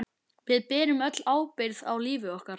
Við berum öll ábyrgð á lífi okkar.